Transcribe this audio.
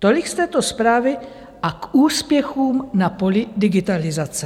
Tolik z této zprávy a k úspěchům na poli digitalizace.